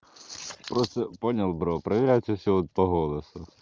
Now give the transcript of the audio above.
просто понял бро проверяйте всё по голосу